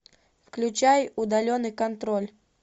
включай удаленный контроль